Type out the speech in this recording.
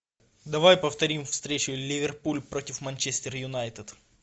давай повторим встречу ливерпуль против манчестер юнайтед